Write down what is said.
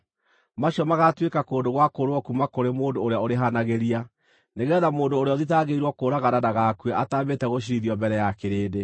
Macio magaatuĩka kũndũ gwa kũũrĩrwo kuuma kũrĩ mũndũ ũrĩa ũrĩhanagĩria, nĩgeetha mũndũ ũrĩa ũthitangĩirwo kũũragana ndagakue ataambĩte gũciirithio mbere ya kĩrĩndĩ.